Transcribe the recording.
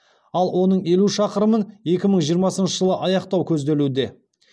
ал оның елу шақырымын екі мың жиырмасыншы жылы аяқтау көзделуде